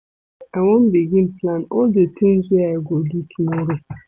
I wan begin plan all di tins wey I go do tomorrow.